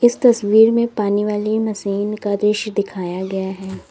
इस तस्वीर में पानी वाली मशीन का दृश्य दिखाया गया है।